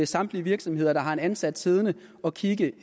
samtlige virksomheder der har en ansat siddende og kigge